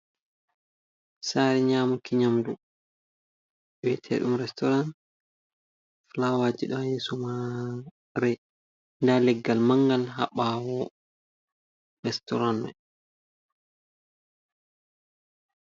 Sare nyamuki nyamdu wiyete ɗum restoran. Fulawaji ɗo ha yeso mare, nda leggal mangal ha ɓawo restoran mai.